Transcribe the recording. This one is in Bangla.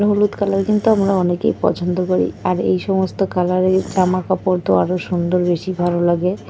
হলুদ কালার কিন্তু আমরা অনেকেই পছন্দ করি আর এই সমস্ত কালার -এর জামা কাপড় তো আরো সুন্দর বেশি ভালো লাগে।